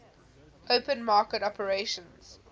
open market operations